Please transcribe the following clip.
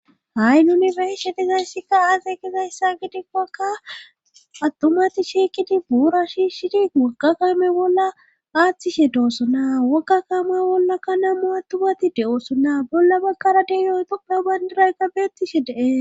Ha7i n yunifershe tizayssikka aase kizayssa gidikkakka attumati shiekidi buura shiishidi wogga kaame bolla aaththishe doosso na wogga kaame bollakka namu attumati de7ooso naa bolla baggara deyooytona bandirayka beettishe dee